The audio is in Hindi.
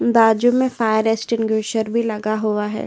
बाजू में फायर एक्सटिंग्विशर भी लगा हुआ है।